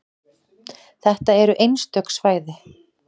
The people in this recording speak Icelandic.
Þetta eru einstök svæði.